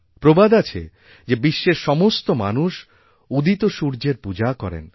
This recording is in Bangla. প্রবাদ আছে যে বিশ্বের সমস্ত মানুষউদিত সূর্যের পূজা করেন